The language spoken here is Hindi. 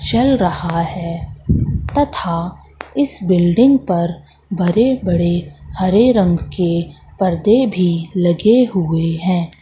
चल रहा है तथा इस बिल्डिंग पर बरे बड़े हरे रंग के पर्दे भी लगे हुए हैं।